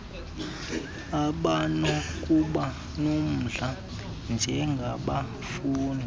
abanokuba nomdla njengabafundi